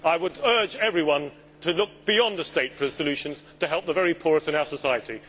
I would urge everyone to look beyond the state for solutions to help the very poorest in our society.